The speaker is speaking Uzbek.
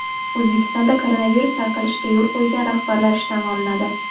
O‘zbekistonda koronavirus tarqalishiga yo‘l qo‘ygan rahbarlar ishdan olinadi.